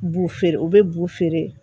Bu feere u bɛ bu feere